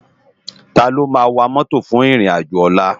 Táló má wá mòtó fún irin ájò òlà?